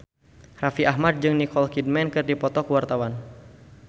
Raffi Ahmad jeung Nicole Kidman keur dipoto ku wartawan